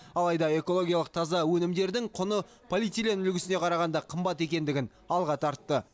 алайда экологиялық таза өнімдердің құны полиэтилен үлгісіне қарағанда қымбат екендігін алға тартты